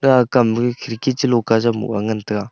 akam ma khirki chilo ka jan moh le ngan tega.